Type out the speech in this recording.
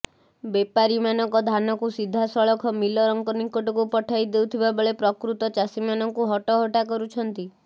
ବେପାରୀ ମାନଙ୍କ ଧାନକୁ ସିଧାସଳଖ ମିଲରଙ୍କ ନିକଟକୁ ପଠାଇ ଦେଉଥିବାବେଳେ ପ୍ରକୃତ ଚାଷୀ ମାନଙ୍କୁ ହଟହଟା କରୁଛନ୍ତି